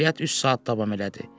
Əməliyyat üç saat davam elədi.